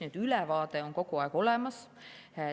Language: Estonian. Nii et ülevaade on kogu aeg olemas.